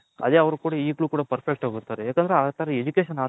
ಅದೇ ಅವರ್ಗ್ ಕೊಡಿ ಈಗಲೂ ಕೂಡ perfect ಆಗಿ ಓದ್ತಾರೆ ಯಾಕಂದ್ರೆ ಆ ತರ education